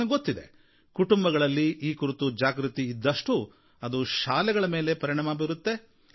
ನನಗೆ ಗೊತ್ತಿದೆ ಕುಟುಂಬಗಳಲ್ಲಿ ಈ ಕುರಿತು ಜಾಗೃತಿ ಇದ್ದಷ್ಟೂ ಅದು ಶಾಲೆಗಳ ಮೇಲೆ ಪರಿಣಾಮ ಬೀರುತ್ತೆ